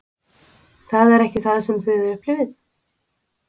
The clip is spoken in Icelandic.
Það er ekki það sem þið upplifið?